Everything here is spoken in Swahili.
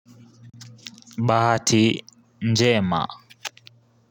Bahati njema.